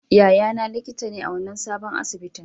Yayana likita ne a wannan sabon asibitin.